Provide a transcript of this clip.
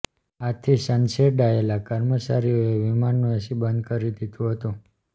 આથી છંછેડાયેલા કર્મચારીઓએ વિમાનનું એસી બંધ કરી દીધું હતું